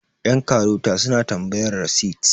yankarota suna tambayar rasit